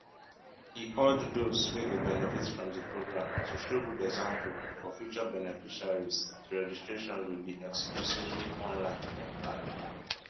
e urge dose wey go benefit from di programme to show good example for future beneficiaries di registration go be exclusively online dem add